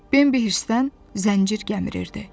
Bambi hirsindən zəncir gəmirirdi.